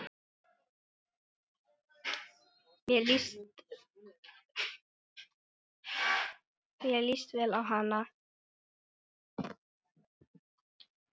Mér líst vel á hana.